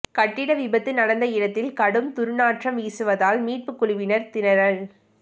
கட்டிட விபத்து நடந்த இடத்தில் கடும் துர்நாற்றம் வீசுவதால் மீட்பு குழுவினர் திணறல்